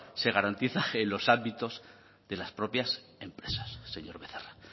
se garantiza en los ámbitos de las propias empresas señor becerra